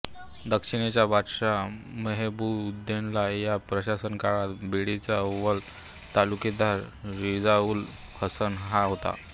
दक्षिणेचा बादशहा महेबूबउद्दौला याच्या प्रशासन काळात बीडचा अव्वल तालुकेदार रिजाऊल हसन हा होता